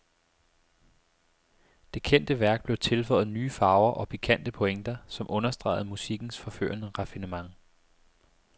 Det kendte værk blev tilføjet nye farver og pikante pointer, som understregede musikkens forførende raffinement.